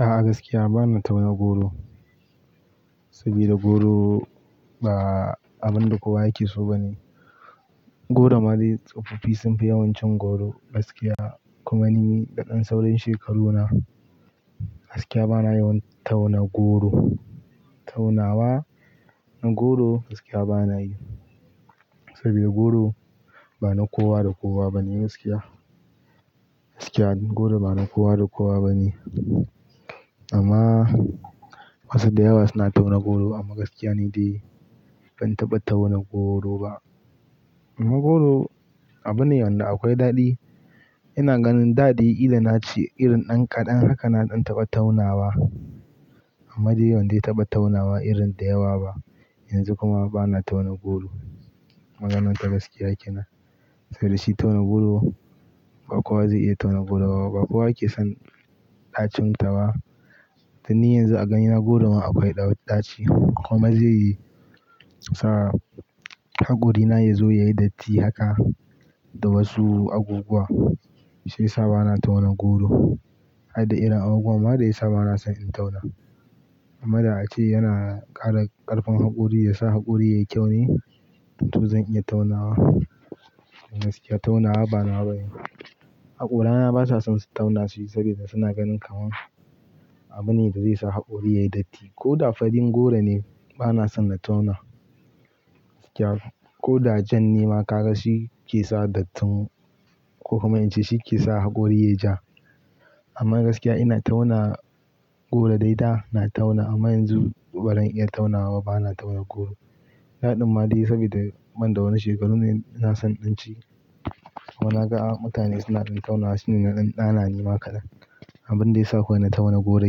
A'a gaskiya bana tauna goro saboda goro ba abun da kowa yake so ba ne. Goro ma dai tsofaffi sun fi yawan cin goro gaskiya kuma ni da ɗan saurin shekaruna, gaskiya bana yawan tauna goro. Taunawa na goro gaskiya bana yi saboda goro ba na kowa da kowa bane gaskiya. Gaskiya goro ba na kowa da kowa bane amma wasu da yawa suna tauna goro amma gaskiya ni dai ban taɓa tauna goro ba. Amma goro abu ne wanda akwai daɗi. Ina ganin daɗi idan na ci irin ɗan kaɗan haka na ɗan taɓa taunawa amma dai ban dai taɓa taunawa irin da yawa ba. Yanzu kuma bana tauna goro maganarta gaskiya kenan saboda shi tauna goro ba kowa zai iya tauna goro ba kuwa ake son ɗacin ta ba. To ni yanzu a gani na goro ma akwai ɗautaci kuma zai sa haƙorina ya zo ya yi datti haka da wasu aguguwa shiyasa bana tauna goro. Har da ina aguguwa ma dai sa bana son in tauna. Amma da a ce yana ƙara ƙarfin haƙori ya sa haƙori yayi kyau ne to zan iya taunawa. Gaskiya taunawa banawa bane ba. Haƙorana ba sa son su tauna shi saboda suna ganin kamar abu ne da zai sa haƙori yayi datti ko da faɗin goro ne bana son na tauna gaskiya ko da jan ni ma ka ga shi ke sa dattin ko kuma in ce shi ke sa haƙori yayi ja. Amma gaskiya ina tauna goro dai da ina tauna amma yanzu barin iya taunawa bana tauna goro. Na ɗan ma dai saboda man da wani shekaru ne ina son in ci kuma na ga mutane suna ɗan taunawa shine na ɗan ɗana ni ma kadan. Abin da ya sa kowane tauna goro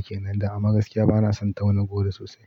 kenan da amma gaskiya bana son tauna goro sosai.